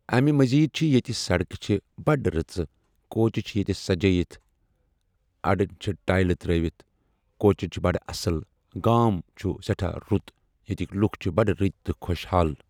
امہِ مٔزیٖد چھُ ییٚتہِ سڑکہٕ چھِ بڈِ رٔژٕ، کوچہِ چھِ ییٚتہِ سجٲیِتھ، أڈٕ چھِ ٹایلہٕ ترٛٲیِتھ، کوچن چھُ بڈٕ اصل گام چُھ رُت گام ییٚتہِ ییٚتِک لُکھ چھِ بڈٕ رٔتۍ تہٕ خۄشحال۔